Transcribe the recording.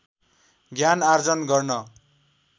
ज्ञान आर्जन गर्न